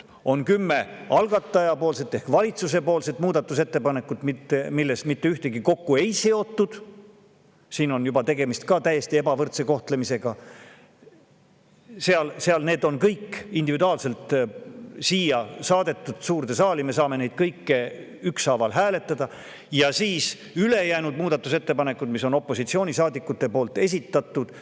On kümme algataja ehk valitsuse muudatusettepanekut, millest mitte ühtegi millegagi kokku ei seotud – siin on juba tegemist ka täiesti ebavõrdse kohtlemisega, sest need on kõik siia suurde saali saadetud, me saame neid kõiki ükshaaval hääletada –, ja siis ülejäänud muudatusettepanekud, mis on opositsioonisaadikute esitatud.